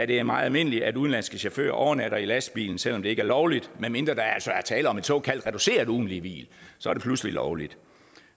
det er meget almindeligt at udenlandske chauffører overnatter i lastbilen selv om det ikke er lovligt medmindre der altså er tale om et såkaldt reduceret ugentligt hvil så er det pludselig lovligt